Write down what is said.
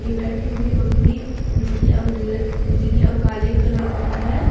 बैठी हुई बकरी उजली ल उजली और काले कलर की है।